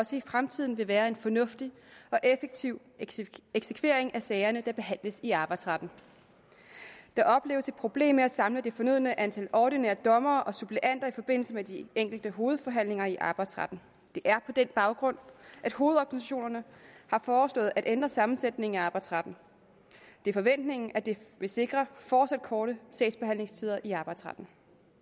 også i fremtiden vil være en fornuftig og effektiv eksekvering af de sager der behandles i arbejdsretten der opleves et problem med at samle det fornødne antal ordinære dommere og suppleanter i forbindelse med de enkelte hovedforhandlinger i arbejdsretten det er på den baggrund at hovedorganisationerne har foreslået at ændre sammensætningen af arbejdsretten det er forventningen at det vil sikre fortsat korte sagsbehandlingstider i arbejdsretten